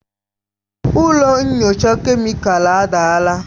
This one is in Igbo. Ụlọ nyocha kemịkalụ adaala.